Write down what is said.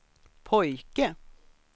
pojke